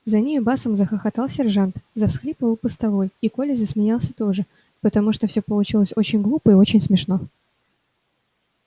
за нею басом захохотал сержант завсхлипывал постовой и коля засмеялся тоже потому что всё получилось очень глупо и очень смешно